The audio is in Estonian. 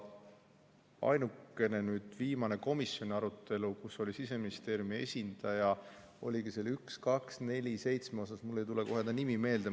Ainukene oli nüüd viimane komisjoni arutelu, mis oligi selle 1247 üle, kus oli Siseministeeriumi esindaja, kelle nimi mul ei tule kohe meelde.